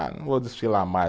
Ah, não vou desfilar mais.